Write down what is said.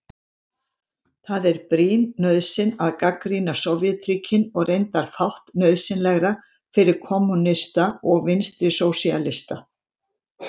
Það er brýn nauðsyn að gagnrýna Sovétríkin og reyndar fátt nauðsynlegra fyrir kommúnista og vinstrisósíalista.